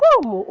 Como?